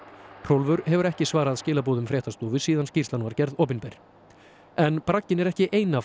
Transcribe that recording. Hrólfur hefur ekki svarað skilaboðum fréttastofu síðan skýrslan var gerð opinber en bragginn er ekki eina